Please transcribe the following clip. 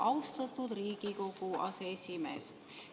Austatud Riigikogu aseesimees!